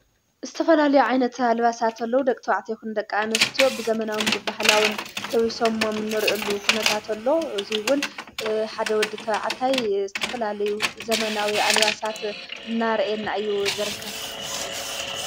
እስተፈላለዩ ዓይነቲ ኣልባሳእተሎዉ ደቕትባዕቲ የኹንደቃ እንስትዮ ብዘመናዊን ብባህላውን ለዊሶምሞም ኖርየሉ ኽነታተሎ እዙይውን ሓደ ወዲ እተዕታይ እስተፈላለዩ ዘመናዊ ኣልባሳት ናርኤን እዩ።